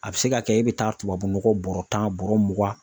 A bɛ se ka kɛ e bɛ taa tubabunɔgɔ bɔrɛ tan bɔrɛ mugan